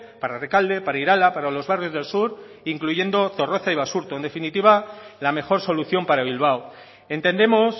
para rekalde para irala para los barrios del sur incluyendo zorroza y basurto en definitiva la mejor solución para bilbao entendemos